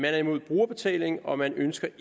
er imod brugerbetaling og man ønsker